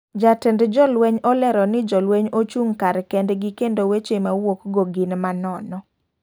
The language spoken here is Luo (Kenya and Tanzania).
Ja tend jo lweny olero ni jo lweny ochung' kar kend gi kendo weche mawuok go gin manono.